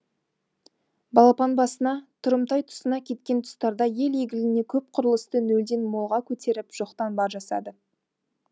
балапан басына тұрымтай тұсына кеткен тұстарда ел игіліне көп құрылысты нөлден молға көтеріп жоқтан бар жасады